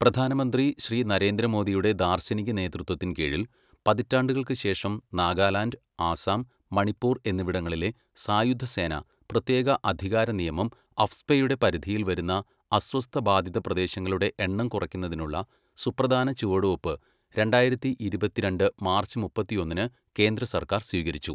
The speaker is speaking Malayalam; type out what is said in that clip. പ്രധാനമന്ത്രി ശ്രീ നരേന്ദ്ര മോദിയുടെ ദാർശനിക നേതൃത്വത്തിൻ കീഴിൽ, പതിറ്റാണ്ടുകൾക്ക് ശേഷം, നാഗാലാൻഡ്, ആസാം, മണിപ്പൂർ എന്നിവിടങ്ങളിലെ സായുധ സേന പ്രത്യേക അധികാര നിയമം അഫ്സ്പയുടെ പരിധിയിൽ വരുന്ന അസ്വസ്ഥബാധിത പ്രദേശങ്ങളുടെ എണ്ണം കുറയ്ക്കുന്നതിനുള്ള സുപ്രധാന ചുവടുവയ്പ്പ് രണ്ടായിരത്തി ഇരുപത്തിരണ്ട് മാർച്ച് മുപ്പത്തിയൊന്നിന് കേന്ദ്ര സർക്കാർ സ്വീകരിച്ചു.